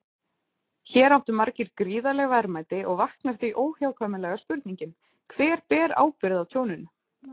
Hér áttu margir gríðarleg verðmæti og vaknar því óhjákvæmilega spurningin: Hver ber ábyrgð á tjóninu?